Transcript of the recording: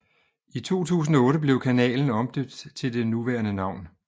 I 2008 blev kanalen omdøbt til det nuværende navn